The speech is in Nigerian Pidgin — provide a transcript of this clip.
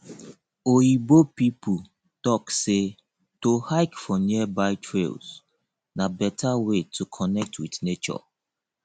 oyibo pipo talk sey to hike for nearby trails na better way to connect with nature